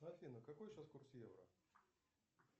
афина какой сейчас курс евро